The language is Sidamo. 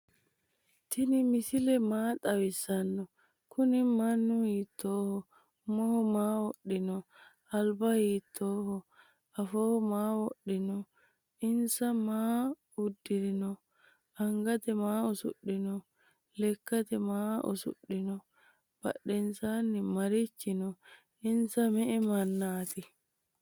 tini misile maa xawisano? kuni manu hitoho? uumo hiroho? alba hitoho? affoho maa wodhino? insa maa udirino? angate maa usushino? leekate maa usudhino? badhensani marichi no?insa me"e maanati?